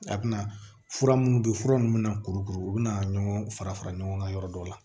A bɛna fura minnu bɛ fura ninnu bɛna kurukuru u bɛna ɲɔgɔn fara fara ɲɔgɔn kan yɔrɔ dɔ la